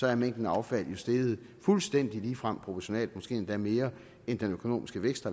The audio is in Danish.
er mængden af affald jo steget fuldstændig ligefremt proportionalt måske endda mere med den økonomiske vækst